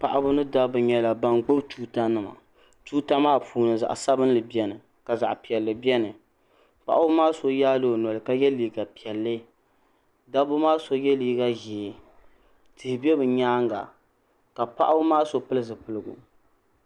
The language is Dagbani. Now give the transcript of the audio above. Paɣiba ni dabba nyɛla ban gbubi tuutanima tuuta maa puuni zaɣ'sabinli beni ka zaɣ'piɛlli beni paɣiba maa so yaala o noli ka ye liiga piɛlli dabba maa so ye liiga ʒee tihi be bɛ nyaaŋa ka paɣiba maa so pili zipiligu.